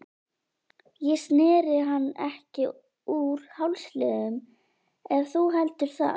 Ég sneri hann ekki úr hálsliðnum ef þú heldur það.